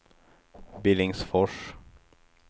Billingsfors